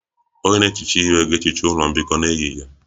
Onye na-ehicha ihe ga-ehicha ụlọ mbikọ n'ehihie